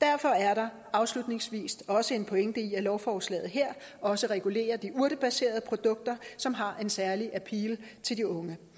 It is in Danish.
derfor er der afslutningsvis også en pointe i at lovforslaget her også regulerer de urtebaserede produkter som har en særlig appeal til de unge